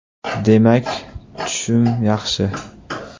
Demak, tushum yaxshi.